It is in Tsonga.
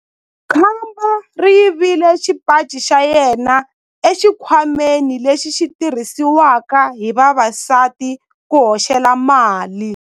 Khamba ri yivile xipaci xa yena exikhwameni lexi xi tirhisiwaka hi vavasati ku hoxela mali.